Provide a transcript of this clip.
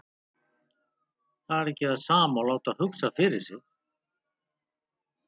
Það er ekki það sama og láta hugsa fyrir sig.